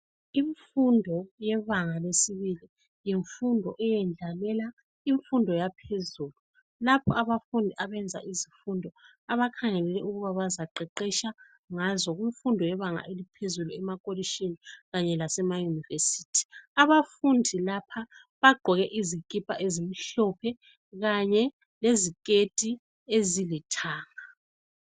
Imfundo yebanga lesibili yimfundo eyendlalela imfundo yaphezulu. Lapho abafundi abenza izifundo abakhangelele ukuba bazaqeqesha ngazo kumfundo yebanga eliphezulu emakolitshini kanye lasemayunivesithi. Abafundi lapha bagqoke izikipa ezimhlophe kanye leziketi ezilithanga.